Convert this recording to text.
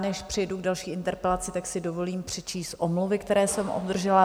Než přejdu k další interpelaci, tak si dovolím přečíst omluvy, které jsem obdržela.